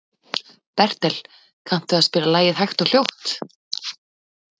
Bertel, kanntu að spila lagið „Hægt og hljótt“?